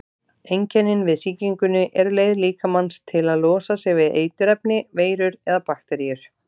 Einkennin við sýkingunni eru leið líkamans til að losa sig við eiturefni, veirur eða bakteríur.